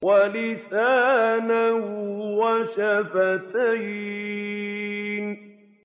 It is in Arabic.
وَلِسَانًا وَشَفَتَيْنِ